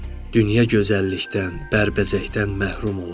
Dünya gözəllikdən, bərbəzəkdən məhrum olar.